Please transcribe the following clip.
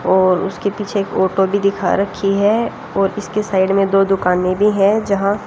और उसके पीछे एक ओटो भी दिखा रखी है और इसके साइड में दो दुकाने में भी हैं जहां--